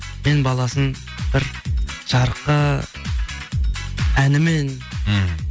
мен баласын бір жарыққа әнімен мхм